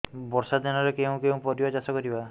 ବର୍ଷା ଦିନରେ କେଉଁ କେଉଁ ପରିବା ଚାଷ କରିବା